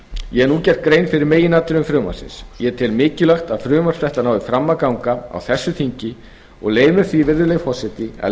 ég hef nú gert grein fyrir meginatriðum frumvarpsins ég tel mikilvægt að frumvarp þetta nái fram að ganga á þessu þingi og leyfi mér því virðulegi forseti að